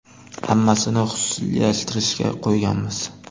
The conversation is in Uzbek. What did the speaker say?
Hammasini xususiylashtirishga qo‘yganmiz.